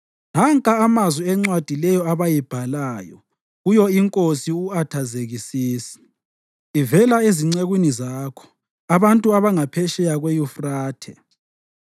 (Nanka amazwi encwadi leyo abayibhalayo.) Kuyo iNkosi u-Athazekisisi, Ivela ezincekwini zakho, abantu abangaphetsheya kweYufrathe: